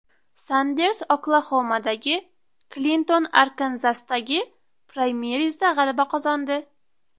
Sanders Oklaxomadagi, Klinton Arkanzasdagi praymerizda g‘alaba qozondi .